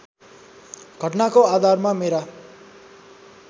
घटनाको आधारमा मेरा